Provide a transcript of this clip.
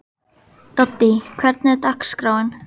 Doddý, hvernig er dagskráin?